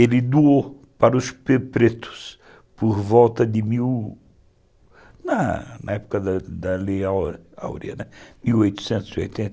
Ele doou para os pre pretos por volta de mil, na época da da Lei Áurea, né, por volta de de mil e oitenta